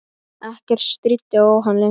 Ekkert stríddi á hann lengur.